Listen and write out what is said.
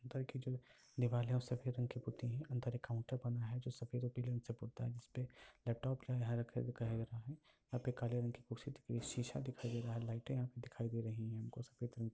ऊपर की जो दिवाले वो सफ़ेद रंग की पुती हैं। अंदर एक काउंटर बना है जो सफ़ेद और पील रंग से पोता है जिस पे लैपटॉप है है। यहाँ पे काले रंग की कुर्सी दिख रही है शीशा दिखाई दे रहा है लाइटें दिखाई दे रही हैं हमको सफ़ेद रंग की।